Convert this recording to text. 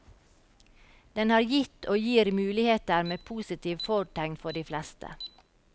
Den har gitt og gir muligheter med positive fortegn for de fleste.